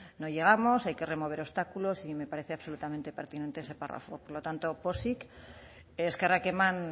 no llegamos hay remover obstáculos y me parece absolutamente pertinente ese párrafo por lo tanto pozik eskerrak eman